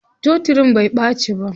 Totirin bai ɓaci ba.